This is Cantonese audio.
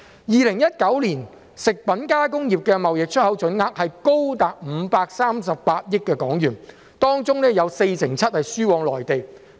2019年食品加工業的貿易出口總額高達538億港元，當中有四成七輸往內地。